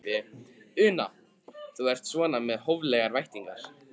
Una: Þú ert svona með hóflegar væntingar?